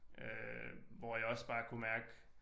Øh hvor jeg også bare kunne mærke